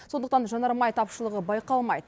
сондықтан жанармай тапшылығы байқалмайды